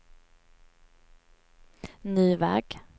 ny väg